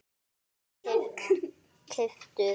kaupið- keyptuð